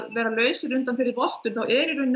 vera lausir undan þeirri vottun þá er